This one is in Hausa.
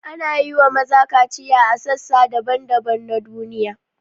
Ana yi wa maza kaciya a sassa daban-daban na duniya.